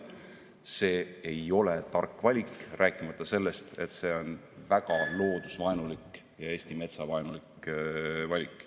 See ei ole tark valik, rääkimata sellest, et see on ka väga loodusvaenulik ja Eesti metsa vaenulik valik.